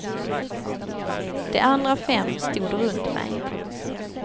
De andra fem stod runt mig.